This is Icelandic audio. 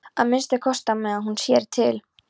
Að minnsta kosti á meðan hún sér til.